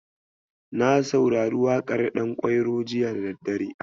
Na saurari waƙar Ɗankwairo jiya da daddare.